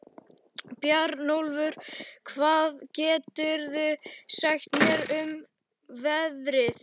Bjarnólfur, hvað geturðu sagt mér um veðrið?